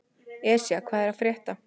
Esja, hvað er að frétta?